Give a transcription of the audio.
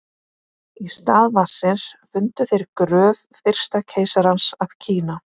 í stað vatnsins fundu þeir gröf fyrsta keisarans af kína